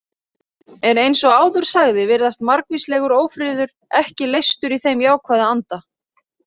En eins og áður sagði virðist margvíslegur ófriður ekki leystur í þeim jákvæða anda.